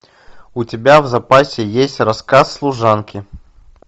у тебя в запасе есть рассказ служанки